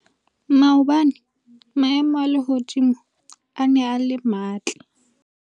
maobane maemo a lehodimo a ne a le matle